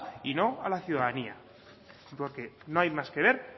y no a la ciudadanía porque no hay más que ver